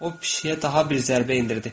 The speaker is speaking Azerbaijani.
O pişiyə daha bir zərbə endirdi.